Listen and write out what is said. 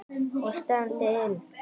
Og stefndi inn